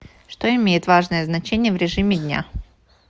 что имеет важное значение в режиме дня